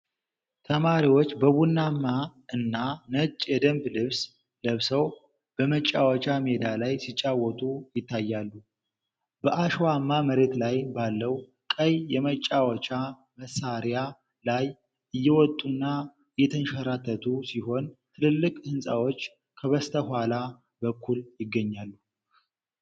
ተማሪዎች በቡናማ እና ነጭ የደንብ ልብስ ለብሰው በመጫወቻ ሜዳ ላይ ሲጫወቱ ይታያሉ። በአሸዋማ መሬት ላይ ባለው ቀይ የመጫወቻ መሳሪያ ላይ እየወጡና እየተንሸራተቱ ሲሆን፣ ትልልቅ ሕንፃዎች ከበስተኋላ በኩል ይገኛሉ።